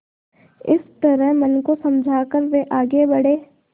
इस तरह मन को समझा कर वे आगे बढ़े